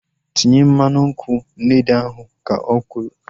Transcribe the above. Tinye mmanụ nkwụ n'ede ahu! Ka o kwuru